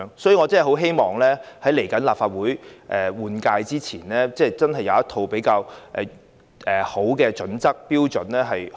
所以，我很希望在即將到來的立法會換屆選舉前，政府可以制訂一套較佳的標準。